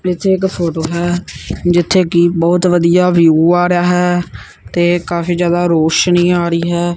ਵਿੱਚ ਇੱਕ ਫੋਟੋ ਹੈ ਜਿੱਥੇ ਕਿ ਬਹੁਤ ਵਧੀਆ ਵਿਊ ਆ ਰਿਹਾ ਹੈ ਤੇ ਕਾਫੀ ਜਿਆਦਾ ਰੋਸ਼ਨੀ ਆ ਰਹੀ ਹੈ।